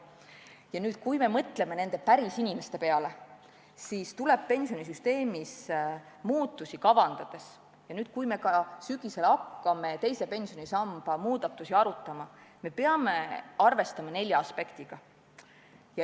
Ja kui me mõtleme nende pärisinimeste peale, siis tuleb pensionisüsteemis üldse muudatusi kavandades, sh ka nüüd, kui me sel sügisel hakkame teise pensionisamba muudatusi arutama, arvestada nelja aspektiga.